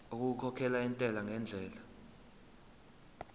okukhokhela intela ngendlela